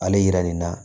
Ale yira nin na